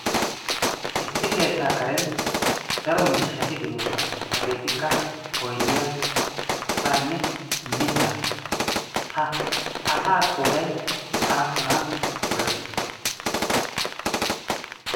issi keettaa karen daro miishshati de'oosona. Hageetikka oydiyaa asaanne mitta. Ha asa qooday aappuna gakki?